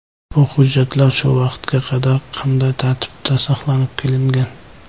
Bu hujjatlar shu vaqtga qadar qanday tartibda saqlab kelingan?